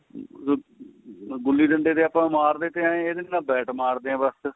ਗੁੱਲੀ ਡੰਡੇ ਦੇ ਆਪਾਂ ਮਾਰਦੇ ਤੇ ਏ ਆ ਇਹਦੇ ਤੇ bat ਮਾਰਦੇ ਆ ਬੱਸ